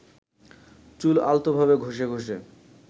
চুল আলতোভাবে ঘষে ঘষে